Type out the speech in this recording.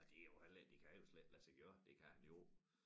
Ej det jo heller ikke det kan jo slet ikke lade sig gøre det kan han jo